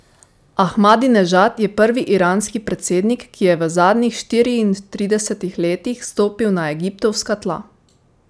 Ahmadinežad je prvi iranski predsednik, ki je v zadnjih štiriintridesetih letih stopil na egiptovska tla.